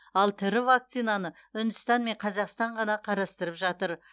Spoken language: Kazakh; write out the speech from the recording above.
ал тірі вакцинаны үндістан мен қазақстан ғана қарастырып жатыр